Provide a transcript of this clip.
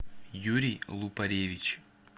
юрий лупаревич